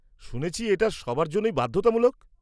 শুনেছি এটা সবার জন্যই বাধ্যতামূলক।